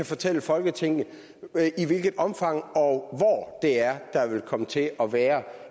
fortælle folketinget i hvilket omfang og hvor det er der vil komme til at være